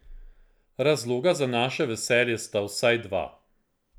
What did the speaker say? Razloga za naše veselje sta vsaj dva.